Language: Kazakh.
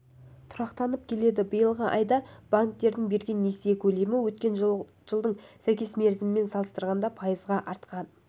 тұрақтанып келеді биылғы айда банктердің берген несие көлемі өткен жылдың сәйкес мерзімімен салыстырғанда пайызға артқан